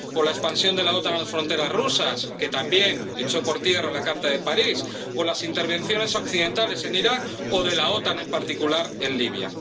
O la expansión de la OTAN a las fronteras rusas —que también echó por tierra la Carta de París—, o las intervenciones occidentales en Irak o de la OTAN, en particular, en Libia.